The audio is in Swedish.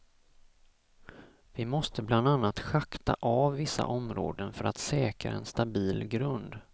Vi måste bland annat schakta av vissa områden för att säkra en stabil grund.